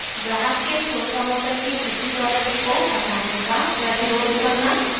ग्राहक के store promoter के किसी प्रोडक्ट को हटाने का प्रतिरोध करना